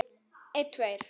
Síðan las hann